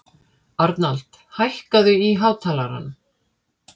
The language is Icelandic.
Arnald, hækkaðu í hátalaranum.